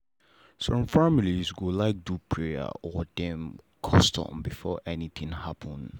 some family go like do prayer or dem custom before anything happen.